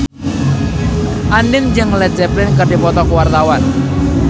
Andien jeung Led Zeppelin keur dipoto ku wartawan